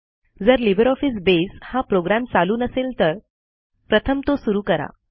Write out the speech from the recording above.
जर लिब्रिऑफिस बसे हा प्रोग्रॅम चालू नसेल तर प्रथम तो सुरू करा